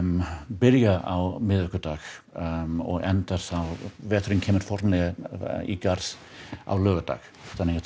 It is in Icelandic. byrja á miðvikudag og enda þá veturinn kemur formlega í garð á laugardag þannig að þetta